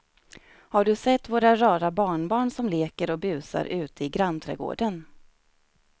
Har du sett våra rara barnbarn som leker och busar ute i grannträdgården!